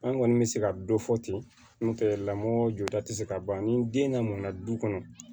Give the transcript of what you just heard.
An kɔni bɛ se ka dɔ fɔ ten n'o tɛ lamɔ jɔda tɛ se ka ban ni den namna du kɔnɔ